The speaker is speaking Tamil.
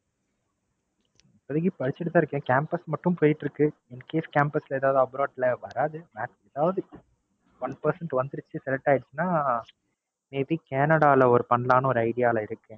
இப்போதைக்கி படிச்சுட்டு தான் இருக்கேன். Campus மட்டும் போயிட்டு இருக்கு. Incase campus ல எதாவது Abroad ல வராது One percent வந்துருச்சு Select ஆயிருச்சுனா May be Cannada ல பண்ணாலம்னு ஒரு Idea ல இருக்கேன்.